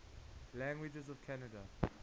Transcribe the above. languages of canada